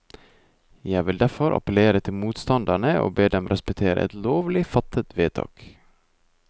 Jeg vil derfor appellere til motstanderne og be dem respektere et lovlig fattet vedtak.